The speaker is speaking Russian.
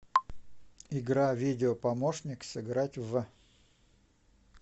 игра видео помощник сыграть в